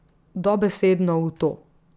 Dobesedno v to.